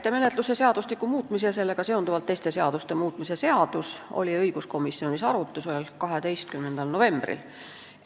Täitemenetluse seadustiku muutmise ja sellega seonduvalt teiste seaduste muutmise seaduse eelnõu oli õiguskomisjonis arutusel 12. novembril.